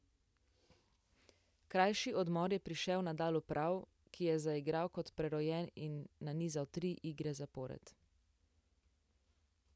Krajši odmor je prišel Nadalu prav, ki je zaigral kot prerojen in nanizal tri igre zapored.